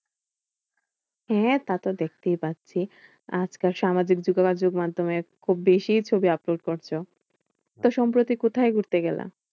হ্যাঁ তা তো দেখতেই পাচ্ছি। আজকাল সামাজিক যোগাযোগের মাধ্যমে খুব বেশিই ছবি upload করছো। তো সম্প্রতি কোথায় ঘুরতে গেলা?